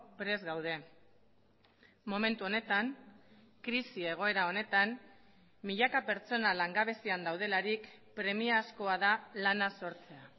prest gaude momentu honetan krisi egoera honetan milaka pertsona langabezian daudelarik premiazkoa da lana sortzea